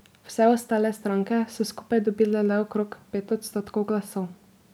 Vse ostale stranke so skupaj dobile le okrog pet odstotkov glasov.